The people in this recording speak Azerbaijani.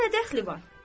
Ona nə dəxli var?